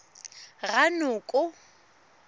ranoko